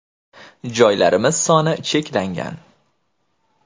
Joylarimiz soni cheklangan.